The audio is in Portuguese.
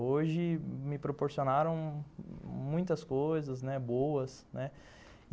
Hoje me proporcionaram muitas coisas, né, boas, né. E